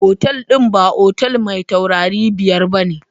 Otal din ba otel mai taurari biyar ba ne.